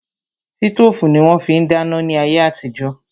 Sítòfù ni wón fi ń dáná ní ayé àtijó